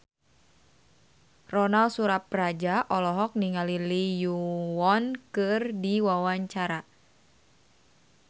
Ronal Surapradja olohok ningali Lee Yo Won keur diwawancara